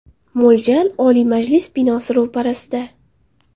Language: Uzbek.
Mo‘ljal: Oliy Majlis binosi ro‘parasida.